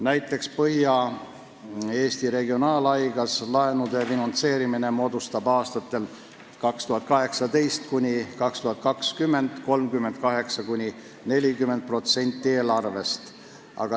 Näiteks Põhja-Eesti Regionaalhaiglas moodustab laenude finantseerimine aastatel 2018–2020 tervelt 38–40% eelarvest.